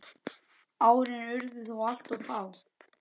Árin urðu þó alltof fá.